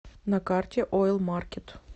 на карте ойл маркет